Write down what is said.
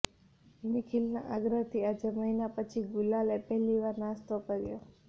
નિખિલના આગ્રહથી આજે મહિના પછી ગુલાલે પહેલી વાર નાસ્તો કર્યો